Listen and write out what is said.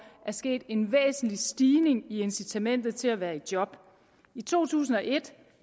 er sket en væsentlig stigning i incitamentet til at være i job i to tusind og et